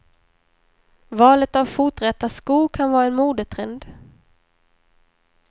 Valet av foträta skor kan vara en modetrend.